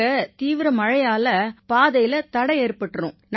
இங்க தீவிர மழையால பாதையில தடை ஏற்பட்டிரும்